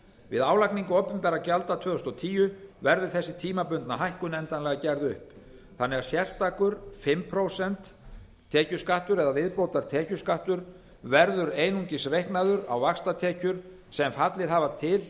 við álagningu opinberra gjalda tvö þúsund og tíu verður þessi tímabundna hækkun endanlega gerð upp þannig að sérstakur fimm prósent tekjuskattur eða viðbótartekjuskattur verður einungis reiknaður á vaxtatekjur sem fallið hafa til